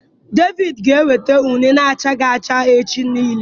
David ga enweta une na achaghi acha echi nile